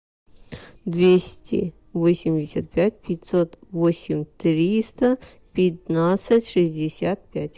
двести восемьдесят пять пятьсот восемь триста пятнадцать шестьдесят пять